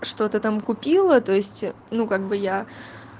что-то там купила то есть ну как бы я